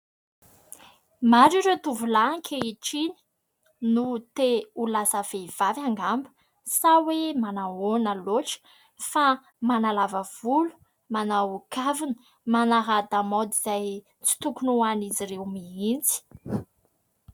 Maro ireo tovolahy ankehitriny no te ho lasa vehivavy angamba, sa hoe manao ahoana loatra, fa manalava volo, manao kavina, manara-damaody izay tsy tokony ho an'izy ireo mihitsy.